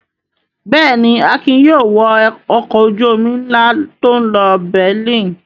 Bẹ́ẹ̀ ni, Akin yóò wọ ọkọ̀ ojú-omi ńlá tó ń lọ Berlin.